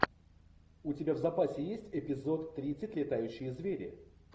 у тебя в запасе есть эпизод тридцать летающие звери